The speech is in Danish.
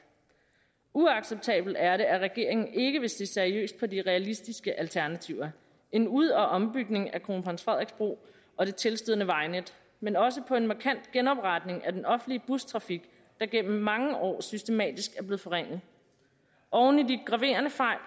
uacceptabelt er det at regeringen ikke vil se seriøst på de realistiske alternativer en ud og ombygning af kronprins frederiks bro og det tilstødende vejnet men også på en markant genopretning af den offentlige bustrafik der gennem mange år systematisk er blevet forringet oven i de graverende fejl